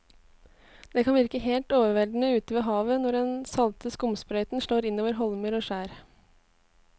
Det kan virke helt overveldende ute ved havet når den salte skumsprøyten slår innover holmer og skjær.